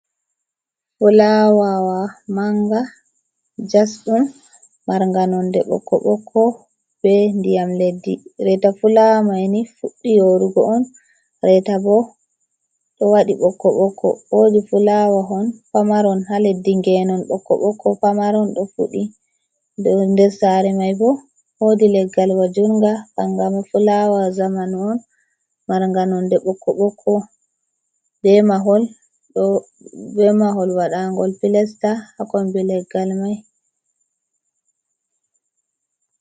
Fulawa manga jasɗum marnga nonde ɓokko ɓokko be ndiyam leddi reta fulawa maini fuɗɗii yorugo on reta bo ɗo waɗi ɓokko ɓokko wodi fulawahon pamaron ha leddi ngenon bokko bokko pamaron do fuddi nder sare mai bo wodi leggal wajunga kangama fulawa zamanu on marnga nonde ɓe mahol wadangol pilesta ha kombi leggal mai.